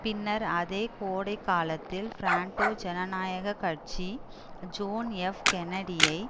பின்னர் அதே கோடைகாலத்தில் பிராண்டோ ஜனநாயக கட்சி ஜோன் எப் கென்னடியை